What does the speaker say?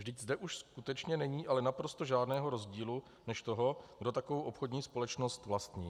Vždyť zde už skutečně není ale naprosto žádného rozdílu než toho, kdo takovou obchodní společnost vlastní.